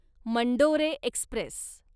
Mandore Express